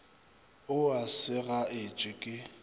o a sega etse ke